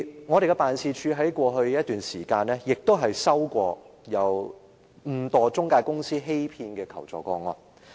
我們的辦事處在過去一段時間亦曾收到誤墮中介公司騙局的求助個案。